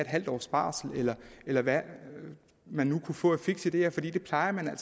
halv års barsel eller eller hvad han nu kunne få af fikse ideer fordi det plejer man